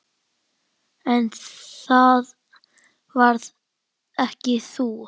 En það varst ekki þú.